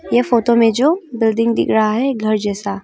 ये फोटो में जो बिल्डिंग दिख रहा है घर जैसा।